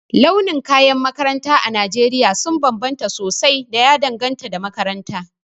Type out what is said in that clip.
Launukan kayan makaranta a Najeriya sun bambanta sosai da ya danganta da makaranta.